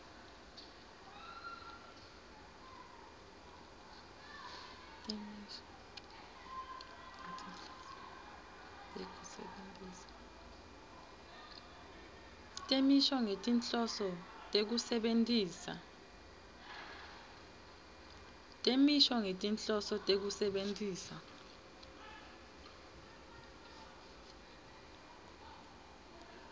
temisho ngetinhloso tekusebentisa